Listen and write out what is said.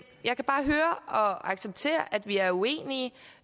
jeg kan bare høre og acceptere at vi er uenige